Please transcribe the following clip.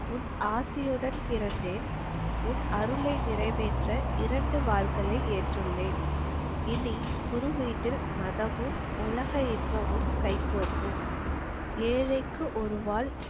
உன் ஆசியுடன் பிறந்தேன். உன் அருளை நிறைவேற்ற இரண்டு வாள்களை ஏற்றுள்ளேன். இனி, குரு வீட்டில் மதமும், உலக இன்பமும், கைகோர்க்கும். ஏழைக்கு ஒரு வாள்